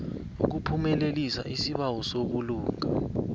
ukuphumelelisa isibawo sobulunga